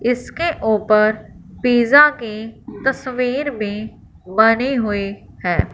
इसके ऊपर पिज्जा की तस्वीर भी बनी हुई है।